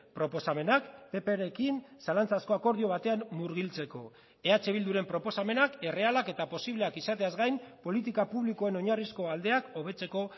proposamenak pprekin zalantzazko akordio batean murgiltzeko eh bilduren proposamenak errealak eta posibleak izateaz gain politika publikoen oinarrizko aldeak hobetzeko